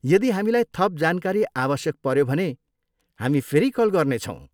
यदि हामीलाई थप जानकारी आवश्यक पऱ्यो भने, हामी फेरि कल गर्नेछौँ।